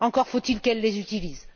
Encore faut il qu'elle les utilise!